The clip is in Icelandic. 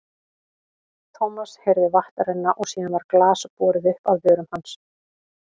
Thomas heyrði vatn renna og síðan var glas borið upp að vörum hans.